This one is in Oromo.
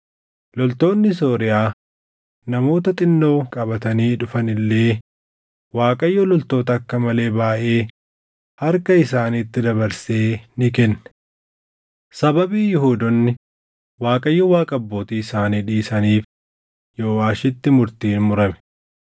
Loltoonni Sooriyaa namoota xinnoo qabatanii dhufan illee Waaqayyo loltoota akka malee baayʼee harka isaaniitti dabarsee ni kenne. Sababii Yihuudoonni Waaqayyo Waaqa abbootii isaanii dhiisaniif Yooʼaashitti murtiin murame.